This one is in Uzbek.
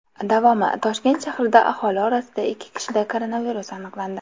Davomi: Toshkent shahrida aholi orasida ikki kishida koronavirus aniqlandi.